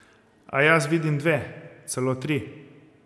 A jaz vidim dve, celo tri.